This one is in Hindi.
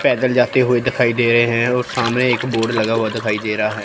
पैदल जाते हुए दिखाई दे रहे है और सामने एक बोर्ड लगा हुआ दिखाई दे रहा है।